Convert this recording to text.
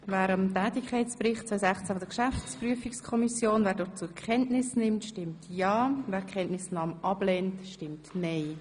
Wer den Tätigkeitsbericht 2016 der GPK zur Kenntnis nehmen will, stimmt ja, wer die Kenntnisnahme ablehnt, stimmt nein.